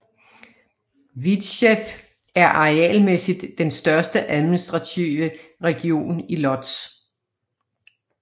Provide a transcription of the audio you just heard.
Widzew er arealmæssigt den største administrative region i Łódź